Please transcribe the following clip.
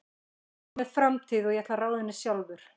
Ég á mér framtíð og ég ætla að ráða henni sjálfur.